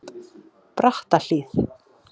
Brattahlíð